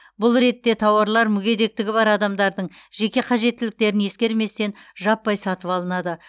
бұл ретте тауарлар мүгедектігі бар адамдардың жеке қажеттіліктерін ескерместен жаппай сатып алынады